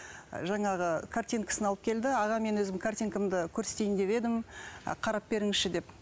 жаңағы картинкасын алып келді аға мен өзімнің картинкамды көрсетейін деп едім қарап беріңізші ы деп